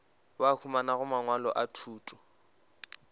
ba humanago mangwalo a thuto